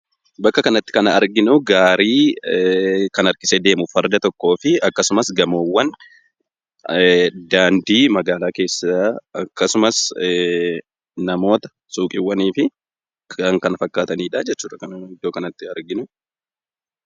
Bakka kanatti kan arginu, gaarii muka harkisee deemu, farda tokko fi akkasumas gamoowwan daandii magaalaa keessaa akkasumas namoota siiqqiiwwaan fi Kan kana fakkaatanidha kan iddoo kanatti arginu.